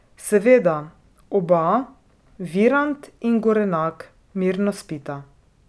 Seveda, oba, Virant in Gorenak, mirno spita.